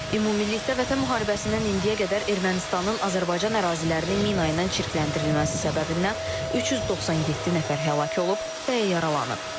Ümumilikdə Vətən müharibəsindən indiyə qədər Ermənistanın Azərbaycan ərazilərini mina ilə çirkləndirilməsi səbəbindən 397 nəfər həlak olub və yaralanıb.